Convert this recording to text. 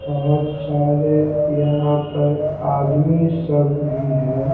बहुत सारे यहां पर आदमी सब भी है।